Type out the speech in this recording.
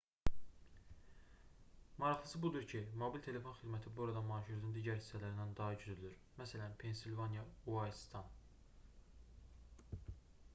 maraqlısı budur ki mobil telefon xidməti burada marşrutun digər hissələrindən daha güclüdür məs pensilvaniya uayldsdan